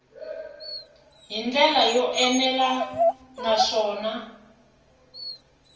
hi ndlela yo enela naswona